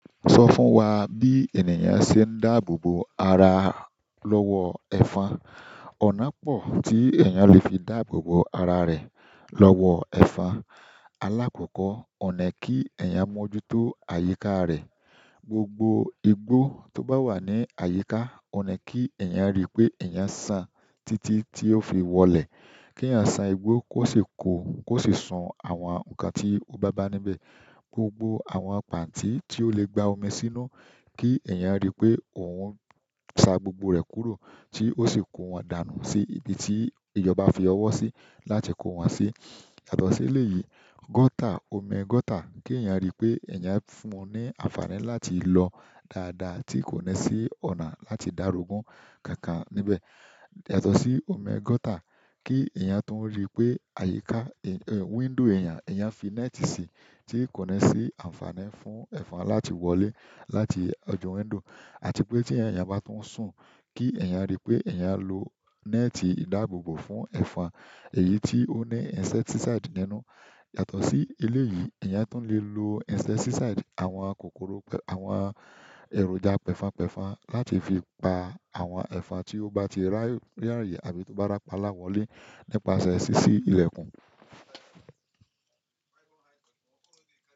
Sọ fún wa bí ènìyàn ṣe ń dáàbò bo ara lọ́wọ́ ẹ̀fon. Ọ̀nà pọ̀ tí èèyàn lè fi dáàbò bo ara rẹ̀ lọ́wọ́ ẹ̀fon. Alákọ̀ọ́kọ́, ọ̀nà kí èèyàn mójútó àyíká rẹ̀. Gbogbo igbó tó bá wà ní àyíká, ọ̀nà kí èèyàn rí pé èèyàn san títí tí ó fi wọlé. Kí èèyàn san igbó kó sì kó, kó sì sun àwọn nǹkan tí ó bá bá níbẹ̀. Gbogbo àwọn pàntí ti o le gbà omí sínú ki èyán ri pe oun sa gbogbo re kúrò ti osi ko wọn danu si ibi ti ìjọba fi owo si láti kọ wọn si. Yàtọ̀ sí ilé yìí, gutter, omi gutter, kí èèyàn rí pé èèyàn fún un ní àǹfààní láti lọ dáadáa tí kò ní sí ọ̀nà láti dàrúgun kankan níbẹ̀. Yàtọ̀ sí omi gutter, kí èèyàn tún rí pé àyíká, window èèyàn, èèyàn fi net sí tí kò ní sí àǹfààní fún ẹ̀fon láti wọlé láti ojú window. Àti pé tí èèyàn bá tún sùn, kí èèyàn rí pé èèyàn lo neti ìdáàbò bo fún ẹ̀fon èyí tí ó ní insecticide nínú. Yàtọ̀ sí ilé yìí, èèyàn tún lè lo insecticide, àwọn kòkòrò pẹ̀, àwọn èròjà pẹ̀fon pẹ̀fon láti fi pa àwọn ẹ̀fon tí ó bá ti rí àríyé àbí tó bá rapalá wọlé nípasẹ̀ sísí ilẹ̀kùn.